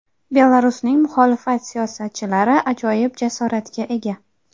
Belarusning muxolifat siyosatchilari ajoyib jasoratga ega.